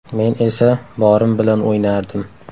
Men esa borim bilan o‘ynardim.